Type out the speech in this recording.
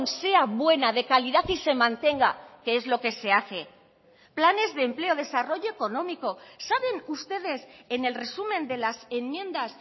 sea buena de calidad y se mantenga que es lo que se hace planes de empleo desarrollo económico saben ustedes en el resumen de las enmiendas